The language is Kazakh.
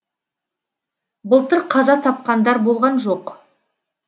былтыр қаза тапқандар болған жоқ